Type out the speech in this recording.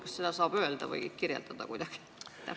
Kas seda saab öelda või kuidagi kirjeldada?